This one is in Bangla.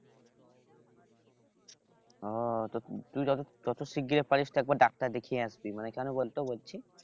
ও তুই যত শিগগির পারিস তুই একবার ডাক্তার দেখিয়ে আসতিস মানে কেন বলতো বলছি?